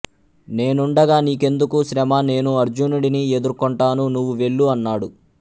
నేనుండగా నీ కెందుకు శ్రమ నేను అర్జునుడిని ఎదుర్కొంటాను నువ్వు వెళ్ళు అన్నాడు